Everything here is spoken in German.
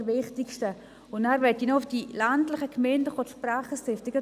Ich möchte zudem auf die ländlichen Gemeinden zu sprechen kommen.